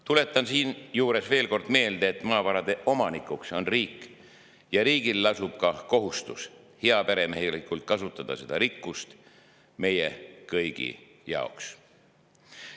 Tuletan siinjuures veel kord meelde, et maavarade omanik on riik ja riigil lasub ka kohustus kasutada seda rikkust heaperemehelikult meie kõigi jaoks.